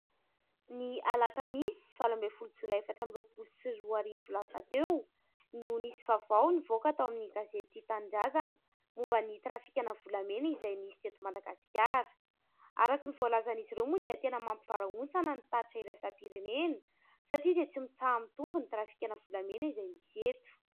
Ny alakamisy valo ambin'ny folo jolay efatra ambin'ny roapolo sy roa arivo lasa teo no nisy vaovao nivoaka tao amin'ny gazety tia tanindrazana momba ny trafika ana volamena izay nisy teto Madagasikara araka ny voalazan'izy ireo moa dia tena mampivarahontsana ny tatra iraisam-pirenena satria dia tsy mitsaha mitombo ny trafikana volamena izay misy eto.